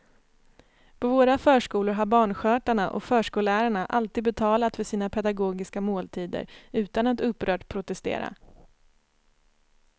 På våra förskolor har barnskötarna och förskollärarna alltid betalat för sina pedagogiska måltider utan att upprört protestera.